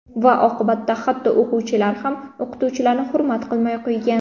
Va oqibatda hatto o‘quvchilar ham o‘qituvchilarni hurmat qilmay qo‘ygan.